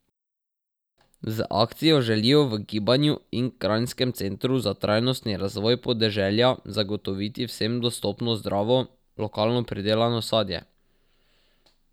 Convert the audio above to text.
Z akcijo želijo v gibanju in kranjskem centru za trajnostni razvoj podeželja zagotoviti vsem dostopno zdravo, lokalno pridelano sadje.